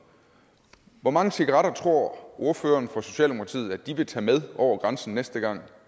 hvor mange cigaretter tror ordføreren for socialdemokratiet at de vil tage med over grænsen næste gang